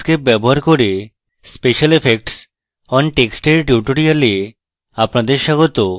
inkscape ব্যবহার করে special effects on text এর tutorial আপনাদের স্বাগত